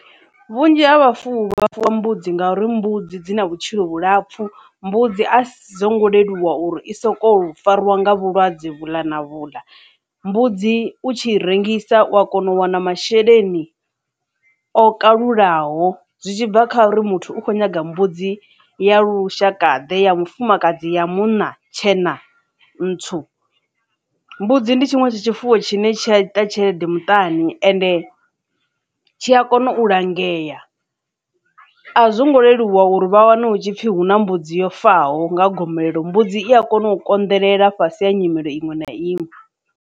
Vhunzhi ha vhafuwi vha fuwa mbudzi ngauri mbudzi dzi na vhutshilo vhulapfu mbudzi a so ngo leluwa uri i soko farwa nga vhulwadze vhuḽa na vhuḽa mbudzi u tshi rengisa u a kona u wana masheleni o kalulaho zwi tshibva kha uri muthu u khou nyaga mbudzi ya lushakade ya mufumakadzi, ya munna, tshena, ntswu mbudzi ndi tshiṅwe tsha tshifuwo tshine tsha ita tshelede muṱani ende tshi a kona u langea a zwo ngo leluwa uri vha wane hutshipfi hu na mbudzi yo faho nga gomelelo mbudzi i a kona u konḓelela fhasi ha nyimelo iṅwe na iṅwe.